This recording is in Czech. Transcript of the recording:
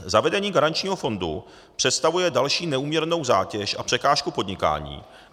Zavedení garančního fondu představuje další neúměrnou zátěž a překážku podnikání.